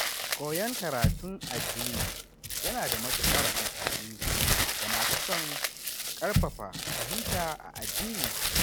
Koyon karatun addini yana da matukar amfani ga masu son ƙarfafa fahimta a addininsu.